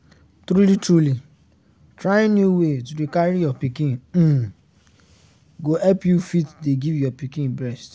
truly truly trying new way to dey carry your pikin um go help you fit dey give your pikin breast